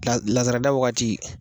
La lazarada wagati